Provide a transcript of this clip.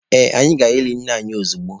Ee, anyị ga-eli nne anyi ozugbo.